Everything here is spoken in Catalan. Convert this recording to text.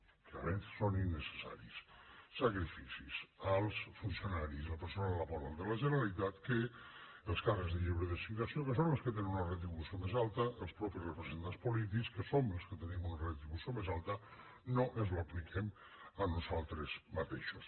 que a més són innecessaris sacrificis als funcionaris al personal laboral de la generalitat que els càrrecs de lliure designació que són els que tenen una retribució més alta els mateixos representats polítics que som els que tenim una retribució més alta no ens apliquem a nosaltres mateixos